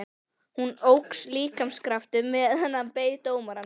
Honum óx líkamskraftur meðan hann beið dómarans.